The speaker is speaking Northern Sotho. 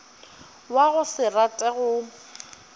wa go se rate go